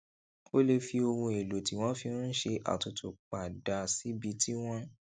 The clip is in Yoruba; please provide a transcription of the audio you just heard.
o lè fi ohun èlò tí wón fi ń ṣe àtutu pa dà síbi tí wón